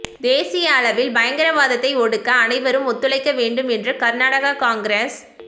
தேசிய அளவில் பயங்கரவாதத்தை ஒடுக்க அனைவரும் ஒத்துழைக்க வேண்டும் என்று கர்நாடக காங்கிரஸ்